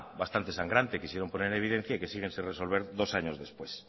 bastante sangrante quisieron poner en evidencia y que siguen sin resolver dos años después